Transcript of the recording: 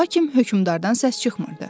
Lakin hökmdardan səs çıxmırdı.